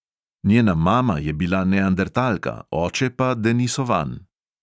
Njena mama je bila neandertalka, oče pa denisovan.